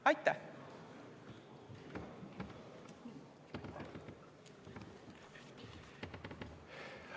Aitäh!